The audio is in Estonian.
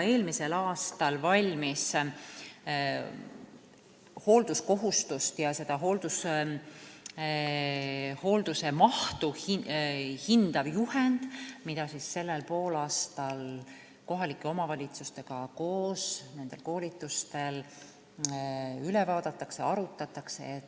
Eelmisel aastal valmis hoolduskohustust ja hoolduse mahtu hindav juhend, mida sellel poolaastal kohalike omavalitsustega koos nende koolitustel üle vaadatakse ja arutatakse.